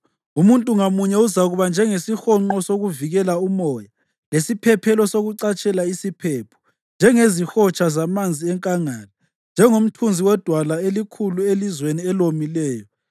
Umuntu ngamunye uzakuba njengesihonqo sokuvikela umoya, lesiphephelo sokucatshela isiphepho, njengezihotsha zamanzi enkangala njengomthunzi wedwala elikhulu elizweni elomileyo.